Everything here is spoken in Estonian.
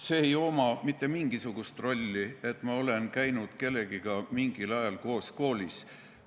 Sellel ei ole mitte mingisugust rolli, et ma olen käinud kellegagi mingil ajal koos koolis.